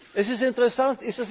Das ist interessant.